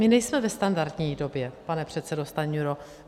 My nejsme ve standardní době, pane předsedo Stanjuro.